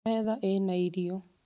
Metha ĩna irio